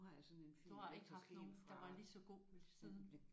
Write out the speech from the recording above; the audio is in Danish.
Du har ikke haft nogen der var lige så god lige siden?